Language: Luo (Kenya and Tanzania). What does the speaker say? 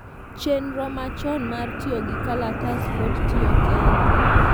chenro machon mar tiyogi kalatas pod tiyo Kenya